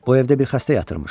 Bu evdə bir xəstə yatırmış.